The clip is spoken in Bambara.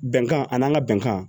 Bɛnkan ani an ka bɛnkan